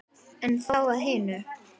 En þá að hinu.